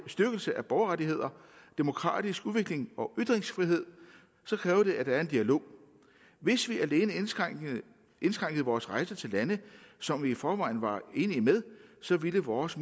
styrkelse af borgerrettigheder demokratisk udvikling og ytringsfrihed kræver det at der er en dialog hvis vi alene indskrænkede vores rejser til lande som vi i forvejen var enige med så ville vores